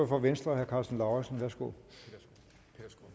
for venstre herre karsten lauritzen værsgo